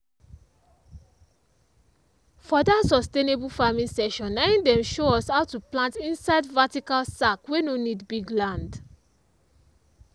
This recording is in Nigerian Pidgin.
for that sustainable farming session na in dem show us how to plant inside vertical sack wey no need big land.